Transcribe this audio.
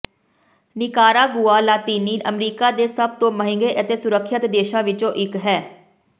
Nicaragua ਲਾਤੀਨੀ America ਦੇ ਸਭ ਤੋਂ ਮਹਿੰਗੇ ਅਤੇ ਸੁਰੱਖਿਅਤ ਦੇਸ਼ਾਂ ਵਿੱਚੋਂ ਇੱਕ ਹੈ